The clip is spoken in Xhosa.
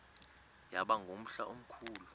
yaba ngumhla omkhulu